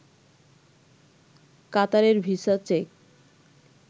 কাতারের visa check